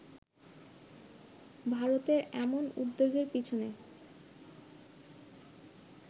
ভারতের এমন উদ্বেগের পেছনে